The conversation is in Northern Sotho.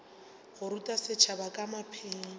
go ruta setšhaba ka maphelo